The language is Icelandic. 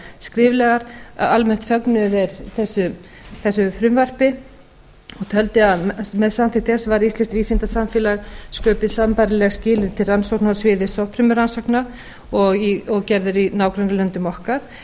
skriflegar að almennt fögnuðu þeir þessu frumvarpi og töldu að með samþykkt þess væru íslensku vísindasamfélagi sköpuð sambærileg skilyrði til rannsókna á sviði stofnfrumurannsókna og gerð eru í nágrannalöndum okkar